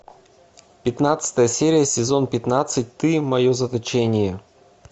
пятнадцатая серия сезон пятнадцать ты мое заточение